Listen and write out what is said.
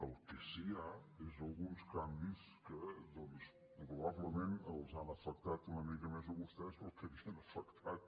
el que sí que hi ha són alguns canvis que doncs probablement els han afectat una mica més a vostès del que havien afectat